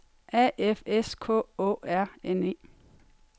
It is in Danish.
A F S K Å R N E